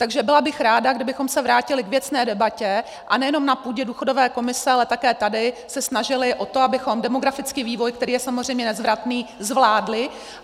Takže byla bych ráda, kdybychom se vrátili k věcné debatě, a nejenom na půdě důchodové komise, ale také tady se snažili o to, abychom demografický vývoj, který je samozřejmě nezvratný, zvládli.